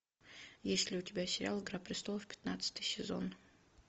есть ли у тебя сериал игра престолов пятнадцатый сезон